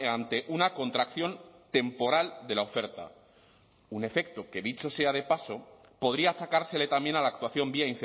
ante una contracción temporal de la oferta un efecto que dicho sea de paso podría achacársele también a la actuación vía